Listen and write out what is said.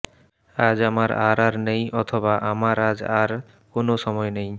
আজ আমার আর আর নেই অথবা আমার আজ আর কোন সময় নেই